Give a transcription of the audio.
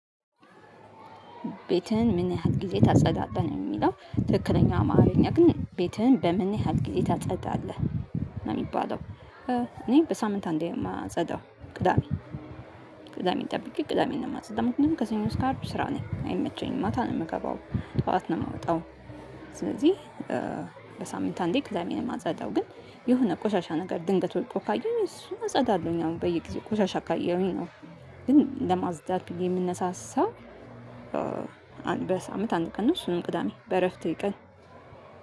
ቤትህን ምን ያህል ጊዜ ታጸዳለህ? ነው የሚለው። ትክክለኛ አማርኛ ግን ቤትህን በምን ያህል ጊዜ ታጸዳለህ? ነው የሚባለው። እኔ በሳምንት አንዴ ነው የማጸዳው ቅዳሜ ቅዳሜ ጠብቄ ቅዳሜ ነው የማጸዳው። ምክንያቱም ከሰኞ እስከ አርብ ስራ ነኝ። አይመቸኝም። ማታ ነው የምገባው። ጠዋት ነው የምወጣው። ስለዚህ በሳምንት አንዴ ቅዳሜ ነው የማጸዳው። ግን የሆነ ቆሻሻ ነገር ድንገት ወይቶ ካየሁ እሱን እጸዳለሁኝ። አሁን በየጊዜው ቆሻሻ ካየሁኝ ነው። ግን ለማጽዳት የምንነሳሳ በሳምንት አንድ ቀን ነው። እሱን ቅዳሜ በእረፍቴ ቀን